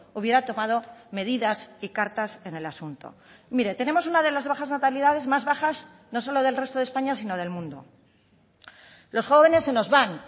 hubiera tomado medidas y cartas en el asunto mire tenemos una de las bajas natalidades más bajas no solo del resto de españa sino del mundo los jóvenes se nos van